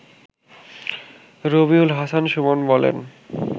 রবিউল হাসান সুমন বলেন